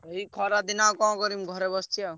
ଏଇ ଖରା ଦିନ ଆଉ କଣ କରିବି ଘରେ ବସିଛି ଆଉ।